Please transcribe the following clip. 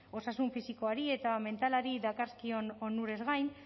osasun fisikoari eta mentalari dakarzkion onurez gain